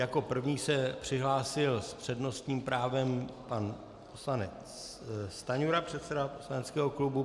Jako první se přihlásil s přednostním právem pan poslanec Stanjura, předseda poslaneckého klubu.